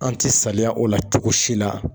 An ti saliya o la cogosi la